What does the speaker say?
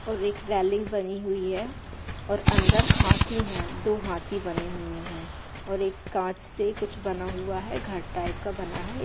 और एक रेलिंग बनी हुई है और अंदर हाथी है दो हाथी बने हुए है और एक कांच से कुछ बना हुआ है घर टाइप का बना है।